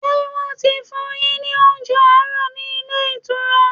Ṣé wọ́n ti fún un yín ní oúnjẹ àárọ̀ ní ilé ìtura?